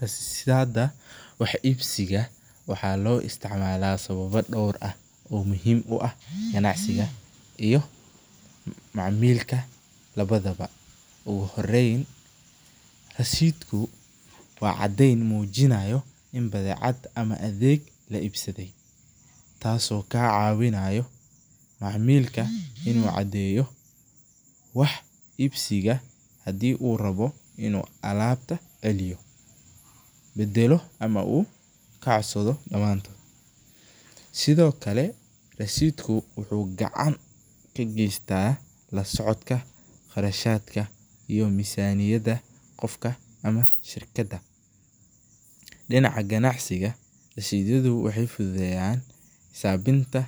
Rasidhada wax iibsiga waxaa loo isticmaala sababo door ah oo muhiim u ah ganacsiga iyo macaamilka labadaba, ugu horeeyn rasiidku waa cadeen mujinaayo in badeecad ama adeeg la iibsade, taas oo kaa cawinaayo macaamilka inuu cadeeyo wax iibsiga hadii uu rabo inuu alaabta celiyo, bedelo ama uu ka codsado damantood, sido kale rasiidku wuxuu gacan ka geesta la socodka qarashadka iyo mizaniyada qofka ama shirkada, dinaca ganacsiga rashiidyadu waxeey fududeyan xisaabinta